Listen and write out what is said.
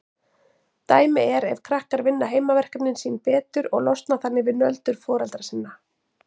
Dæmi er ef krakkar vinna heimaverkefnin sín betur og losna þannig við nöldur foreldra sinna.